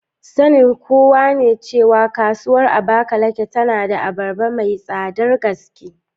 Sanin kowa ne cewa Kasuwar Abakaliki tana da abarba mai tsadar gaske.